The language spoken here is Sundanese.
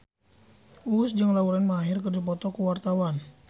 Uus jeung Lauren Maher keur dipoto ku wartawan